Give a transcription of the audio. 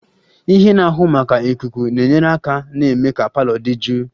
Ihe na-ahụ maka ikuku na-enyere aka na-eme ka parlour dị jụụ